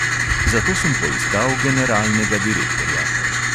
Zato sem poiskal generalnega direktorja.